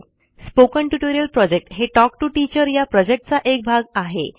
spoken tutorial project हे talk to teacher या प्रॉजेक्टचा एक भाग आहे